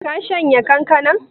Ka shanya kankanan?